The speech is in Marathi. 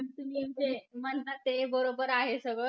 तुम्ही म्हणजे म्हणता ते बरोबर आहे सगळं.